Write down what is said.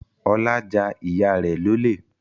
Ọlá ja ìyá rẹ̀ lólè